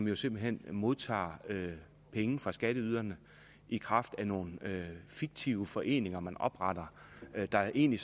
jo simpelt hen modtager penge fra skatteyderne i kraft af nogle fiktive foreninger man opretter der egentlig